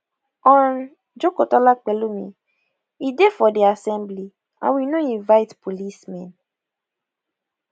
hon jokotola pelumi e dey for di assembly and we no invite policemen